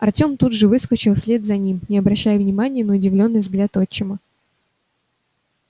артем тут же выскочил вслед за ним не обращая внимания на удивлённый взгляд отчима